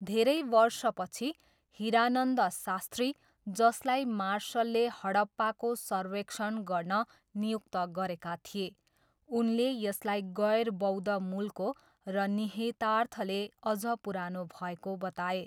धेरै वर्षपछि, हिरानन्द शास्त्री, जसलाई मार्सलले हडप्पाको सर्वेक्षण गर्न नियुक्त गरेका थिए, उनले यसलाई गैर बौद्ध मूलको र निहितार्थले अझ पुरानो भएको बताए।